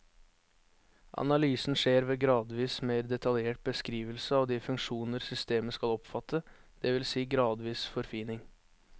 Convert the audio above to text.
Analysen skjer ved gradvis mer detaljert beskrivelse av de funksjoner systemet skal omfatte, det vil si gradvis forfining.